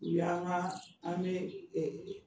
U y' an ka, an bɛ